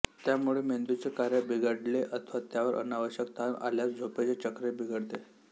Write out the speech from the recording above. त्यामुळे मेंदूचे कार्य बिघडले अथवा त्यावर अनावश्यक ताण आल्यास झोपेचे चक्रही बिघडते